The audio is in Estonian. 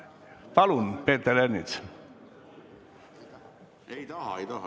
Palun, Peeter Ernits!